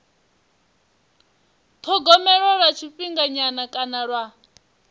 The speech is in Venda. thogomelwa lwa tshifhinganyana kana lwa